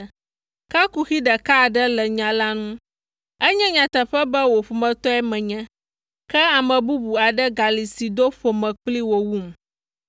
Ke kuxi ɖeka aɖe le nya la ŋu. Enye nyateƒe be wò ƒometɔe menye, ke ame bubu aɖe gali si do ƒome kpli wò wum.